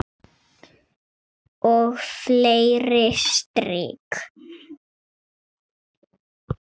Og fleiri trix.